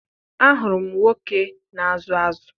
Ahụrụ m nwoke na-azụ azụ